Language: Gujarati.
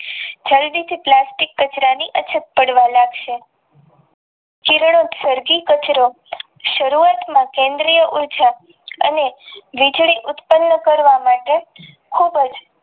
પ્લાસ્ટિક કચરાની અછત પાડવા લાગશે જીવની સર્જી કચરો સરુવાત માં કેન્દ્ર ઉર્જા અને વીજળી ઉત્પન્ન કરવા માટે ખુબ જ